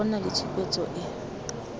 go nna le tshupetso e